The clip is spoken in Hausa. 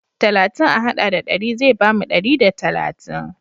Talatin a haɗa da ɗari zai bamu ɗari da talatin.